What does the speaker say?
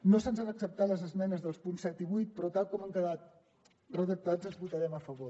no se’ns han acceptat les esmenes dels punts set i vuit però tal com han quedat redactats hi votarem a favor